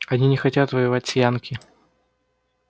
они хотят воевать с янки